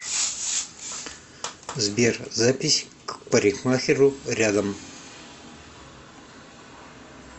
сбер запись к парикмахеру рядом